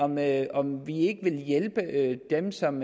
med om vi ikke vil hjælpe dem som